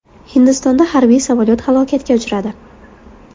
Hindistonda harbiy samolyot halokatga uchradi.